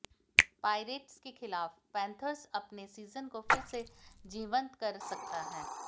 pirates के खिलाफ Panthers अपने सीजन को फिर से जीवंत कर सकता है